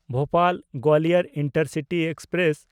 Bhopal-Gwalior intercity express